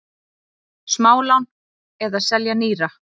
Smálán eða selja nýra?